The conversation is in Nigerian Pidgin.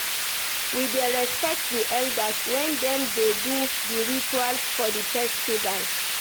We dey respect di elders wen dem dey do di rituals for di festival.